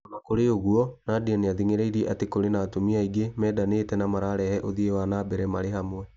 Ona kũrĩ ũguo Nadia nĩathing'ĩrĩirie atĩ kũrĩ na atumia aingĩ mendanĩte na mararehe ũthii wa nambere marĩ hamwe